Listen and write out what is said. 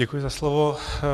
Děkuji za slovo.